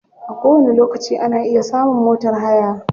A kowani lokaci ana iya samun motar haya.